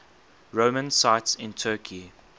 roman sites in turkey